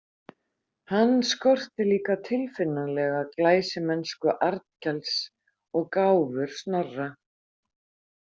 Hann skorti líka tilfinnanlega glæsimennsku Arnkels og gáfur Snorra.